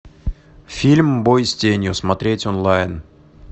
фильм бой с тенью смотреть онлайн